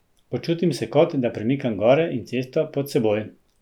Počutim se kot, da premikam gore in cesto pod seboj.